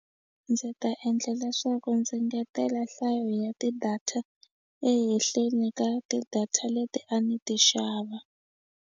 Ndzi ta endla leswaku ndzi engetela nhlayo ya ti-data ehenhleni ka ti-data leti a ni ti xava.